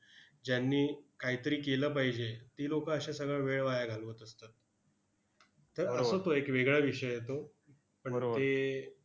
ज्यांनी कायतरी केलं पाहिजे, ती लोकं अशा सगळा वेळ वाया घालवत असतात. तर असा तो वेगळा विषय आहे तो. पण ते